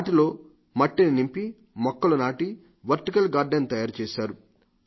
వాటిలో మట్టిని నింపి మొక్కలు నాటి వర్టికల్ గాల్డెన్ తయారుచేశారు